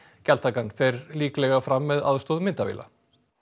gjaldtakan fer líklega fram með aðstoð myndavéla